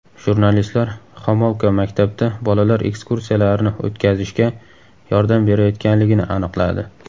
Jurnalistlar Xomolka maktabda bolalar ekskursiyalarini o‘tkazishga yordam berayotganligini aniqladi.